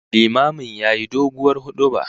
Limamin yayi doguwar huduba